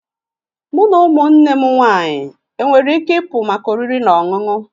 Mụ na ụmụnne m nwanyị enwere ike ịpụ maka oriri na ọṅụṅụ?